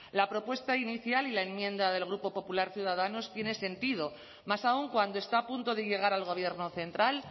la propuesta inicial y la enmienda del grupo popular ciudadanos tiene sentido más aún cuando está a punto de llegar al gobierno central